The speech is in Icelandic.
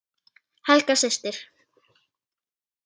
Helga systir.